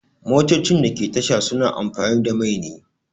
Motocin da ke tasha suna amfani da mai ne